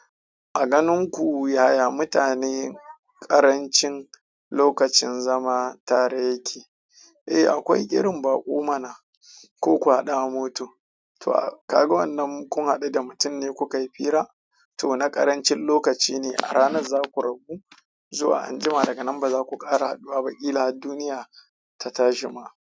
A ganin ku yaya mutane ƙarancin lokacin zama tare yake? Eh akwai irin baƙo mana koku haɗu a moto. To, ah kaga wannan kun haɗu da mutum ne kukayi fira to na ƙarancin lokaci ne a ranar za ku rabu. Zuwa anjima daga nan ba za ku ƙara haduwa ba ƙila har duniya ta tashi kuma.